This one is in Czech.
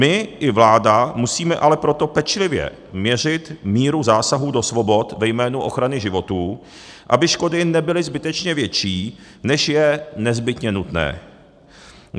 My i vláda musíme ale proto pečlivě měřit míru zásahu do svobod ve jménu ochrany životů, aby škody nebyly zbytečně větší, než je nezbytně nutné.